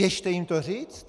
Běžte jim to říct.